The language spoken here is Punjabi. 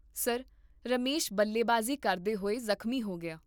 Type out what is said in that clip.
ਸਰ, ਰਮੇਸ਼ ਬੱਲੇਬਾਜ਼ੀ ਕਰਦੇ ਹੋਏ ਜ਼ਖਮੀ ਹੋ ਗਿਆ